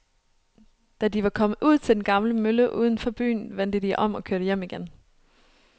Da de var kommet ud til den gamle mølle uden for byen, vendte de om og kørte hjem igen.